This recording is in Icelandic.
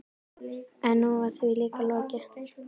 En nú var því líka lokið.